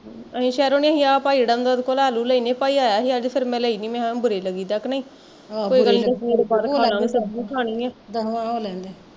ਅਸੀਂ ਸਹਿਰੋਂ ਨੀ ਸੀ ਆਹ ਭਾਈ ਜਿਹੜਾ ਆਉਂਦਾ ਉਹਦੇ ਕੋਲੋਂ ਲੈ ਲੂ ਲੈਂਦੇ ਭਾਈ ਆਇਆ ਸੀ ਅੱਜ ਤੇ ਫੇਰ ਮੈਂ ਲਈ ਨੀ ਮੈਂ ਕਿਹਾਂ ਬੁਰੇ ਲੱਗੀ ਦਾ ਕਿ ਨਹੀਂ